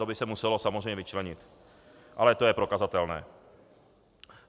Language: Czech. To by se muselo samozřejmě vyčlenit, ale to je prokazatelné.